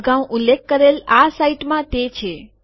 અગાઉ ઉલ્લેખ કરેલી આ સાઈટમાં તે છે